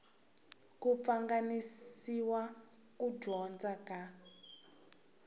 ku pfanganisa ku dyondza ka